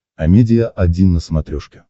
амедиа один на смотрешке